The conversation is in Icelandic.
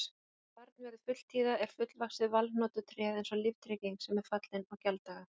Þegar barn verður fulltíða er fullvaxið valhnotutréð eins og líftrygging sem er fallin í gjalddaga.